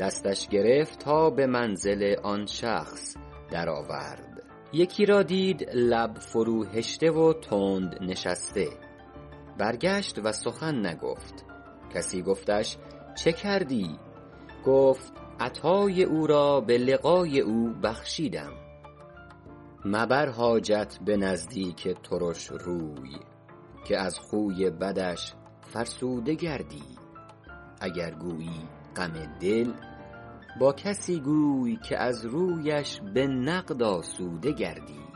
دستش گرفت تا به منزل آن شخص در آورد یکی را دید لب فرو هشته و تند نشسته برگشت و سخن نگفت کسی گفتش چه کردی گفت عطای او را به لقای او بخشیدم مبر حاجت به نزدیک ترش روی که از خوی بدش فرسوده گردی اگر گویی غم دل با کسی گوی که از رویش به نقد آسوده گردی